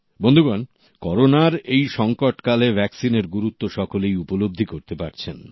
বন্ধুগণ করোনার এই সংকটকালে ভ্যাকসিনের গুরুত্ব সকলেই উপলব্ধি করতে পারছেন